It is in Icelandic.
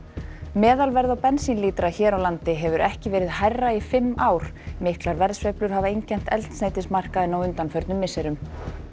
meðalverð á bensínlítra hér á landi hefur ekki verið hærra í fimm ár miklar verðsveiflur hafa einkennt eldsneytismarkaðinn á undanförnum misserum